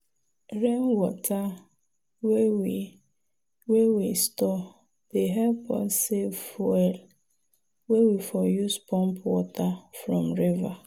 rainwater wey we wey we store dey help us save fuel wey we for use pump water from river.